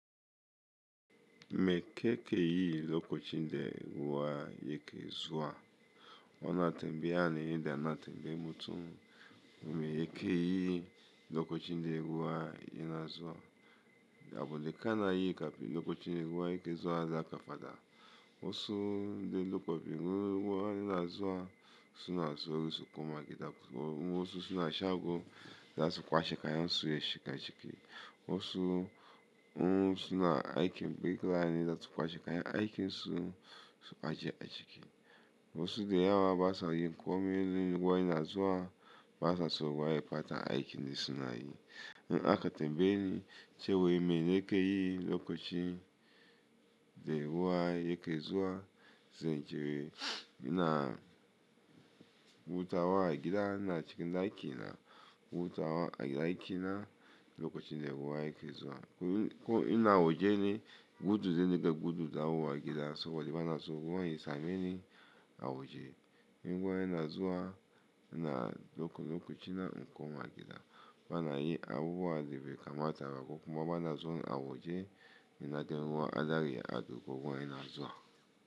Me kakeyi lokacin da ruwa yake zuwa? Wana temba yaa ne yanda na tembeyan mutum. Me ya ke yi lokochi nde ruwaa ye na zuwa. Abune ka na yi kapi lokochi nde ruwa yake zuwa da kafada. Wasu nde loko pi nguru wa ye na zuwa su na zuwa warisu kuma gida. Domin wasu suna shago za su kwashe ka yan su ye shi ga chiki. Wasu wa su na aiki mbe kila na yida su kwashe ka ya aiki su su kwashe a chiki. Wasu de ya wa basa yi ko mi le waa ye na zuwa basa su waa ye pata aikin da suna yi. Na aka tembeye ni che we me ke ke yi lokochi nde ruwa yake zuwa ze che we ina wuta wa gida na chiki na aiki na wuta wa gida aiki na lokochi nde ruwa yake zuwa. Ko ina awaje ni gudu ze ne da gudu da wu wa gida soba de bana so ruwa ye sa me ni awaje. In ruwa ye na zuwa ina daukan loko china inko ma gida. Bana yi abubuwa de be kamata ba ko kuma bana su awaje ina de ruwa ada ye ado gogo ye na zuwa.